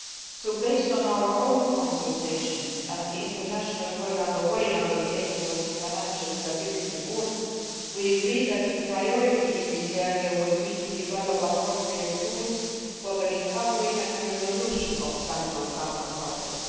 So, based on our own consultations and the international work underway under the aegis of the Financial Stability Board, we agree that the priority in this area should be to develop appropriate tools for the recovery and resolution of central counterparties.